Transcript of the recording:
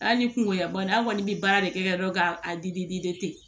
Hali ni kungoyanna an kɔni bɛ baara de kɛ dɔrɔn k'a di di